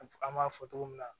An b'a fɔ togo min na